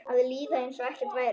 Að líða einsog ekkert væri.